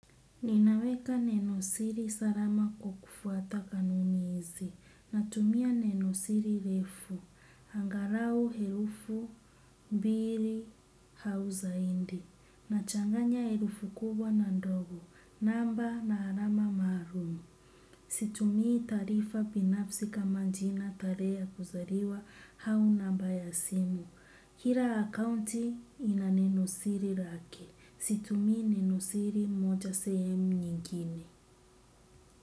Ninaweka nenosiri salama kwa kufuata kanuni izi. Natumia nenosiri refu. Angalau herufu mbili au zaidi. Nachanganya herufu kubwa na ndogo. Namba na alama maalum. Situmii tarifa binafsi kama jina tarehe ya kuzaliwa au namba ya simu. Kila akounti ina nenosiri lake. Situmii ninosiri moja sehemu nyingine.